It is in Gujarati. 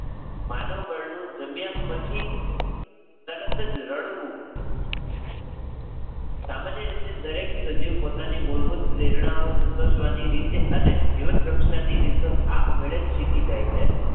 માનવ બળનું જન્મ્યા પછી તરત જ રડવું, સામાન્ય રીતે દરેક સજીવ પોતાની મૂળભૂત પ્રેરણાઓ સંતોષવાની રીતે અને જીવન રક્ષણની રીતો આપમેળે જ શીખી જાય છે.